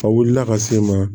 A wulila ka se n ma